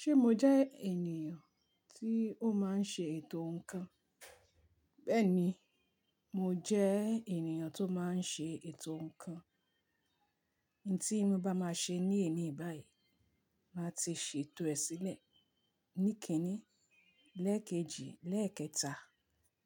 Ṣé mo jẹ́ ènìyàn tí ó máa ń ṣe ètò ǹkan? Bẹ́ẹ̀ni, mo jẹ́ ènìyàn tó máa ń ṣe ètò ǹkan. Òun tí mo bá máa ṣe ní ẹni báyìí, màá ti ṣètò ẹ sílẹ̀. Ní kìíní, lẹ́ẹ̀kejì, lẹ́ẹ̀kẹta,